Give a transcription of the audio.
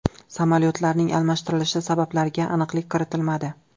Samolyotlarning almashtirilishi sabablariga aniqlik kiritilmadi.